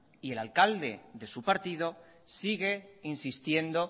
y el alcalde de su partido sigue insistiendo